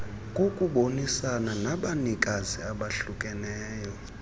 kokubonisana nabanikazi abahlukeneyo